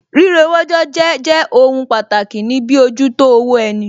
Rírewójọ jẹ́ jẹ́ ohun pàtàkì ní bíojútó owó ẹni